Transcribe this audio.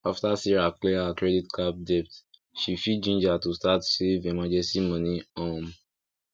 after sarah clear her credit card debt she feel ginger to start save emergency money um